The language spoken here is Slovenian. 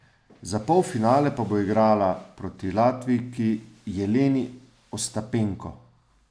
Za polfinale pa bo igrala proti Latvijki Jeleni Ostapenko.